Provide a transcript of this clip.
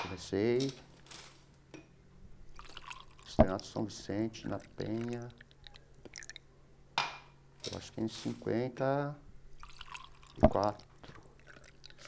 Comecei... Externato São Vicente, na Penha... Eu acho que em cinquenta e quatro.